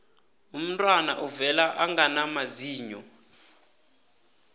umntwana uvela angana mazinyo